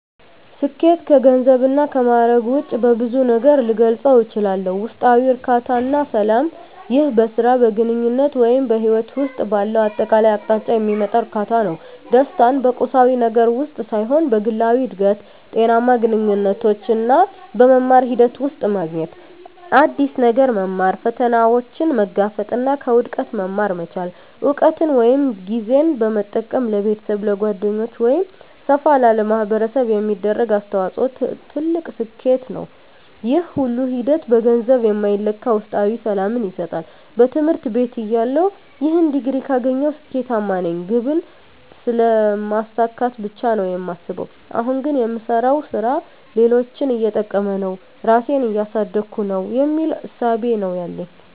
ስኬት ከገንዘብ እና ከማእረግ ውጭ በብዙ ነገር ልገልፀው እችላልሁ። ውስጣዊ እርካታ እና ሰላም ይህ በሥራ፣ በግንኙነት ወይም በሕይወት ውስጥ ባለው አጠቃላይ አቅጣጫ የሚመጣ እርካታ ነው። ደስታን በቁሳዊ ነገር ውስጥ ሳይሆን በግላዊ እድገት፣ ጤናማ ግንኙነቶች እና በመማር ሂደት ውስጥ ማግኘት። አዲስ ነገር መማር፣ ፈተናዎችን መጋፈጥ እና ከውድቀት መማር መቻል። እውቀትን ወይም ጊዜን በመጠቀም ለቤተሰብ፣ ለጓደኞች ወይም ሰፋ ላለ ማኅበረሰብ የሚደረግ አስተዋጽኦ ትልቅ ስኬት ነው። ይህ ሁሉ ሂደት በገንዘብ የማይለካ ውስጣዊ ሰላምን ይሰጣል። በትምህርት ቤትተያለሁ "ይህን ዲግሪ ካገኘሁ ስኬታማ ነኝ" ግብን ስለማሳካት ብቻ ነው የማስበው። አሁን ግን "የምሰራው ሥራ ሌሎችን እየጠቀመ ነው? ራሴን እያሳደግኩ ነው?" የሚል እሳቤ ነው ያለኝ።